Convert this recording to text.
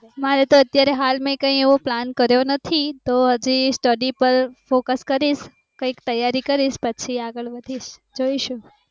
મારે તો અત્યારે હાલ માં કઈ એવો plan કર્યો નથી તો હજી study પર focus ક્રીસ કૈક તૈયારી કરીશ પછી આગળ વધીસ જોઈશું